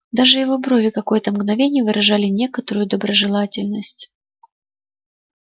даже его брови какое-то мгновение выражали некоторую доброжелательность